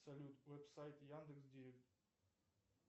салют веб сайт яндекс директ